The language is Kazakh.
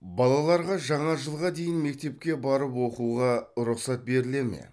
балаларға жаңа жылға дейін мектепке барып оқуға рұқсат беріле ме